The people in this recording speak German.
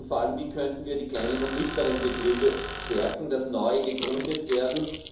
Und vor allem, wie könnten wir die kleinen und mittleren Betriebe stärken, damit neue gegründet werden?